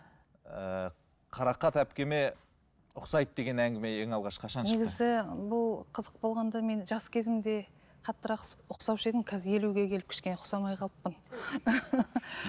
ыыы қарақат әпкеме ұқсайды деген әңгіме ең алғаш қашан шықты негізі бұл қызық болғанда мен жас кезімде қаттырақ ұқсаушы едім қазір елуге келіп кішкене ұқсамай қалыппын